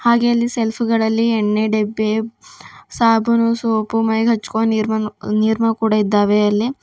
ಹಾಗೆ ಅಲ್ಲಿ ಶೆಲ್ಫ್ ಗಳಲ್ಲಿ ಎಣ್ಣೆ ಡಬ್ಬಿ ಸಾಬೂನು ಸೋಪು ಮೈಗೆ ಹಚ್ಚಿಕೊ ನೀರ್ ನಿರ್ಮ ಇದ್ದಾವೆ ಅಲ್ಲಿ.